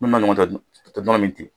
u tɛ nɔnɔ min ten